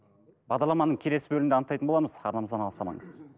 бағдарламаның келесі бөлігінде анықтайтын боламыз арнамыздан алыстамаңыз